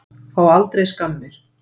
Fá aldrei skammir.